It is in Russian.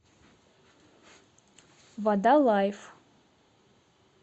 вода лайф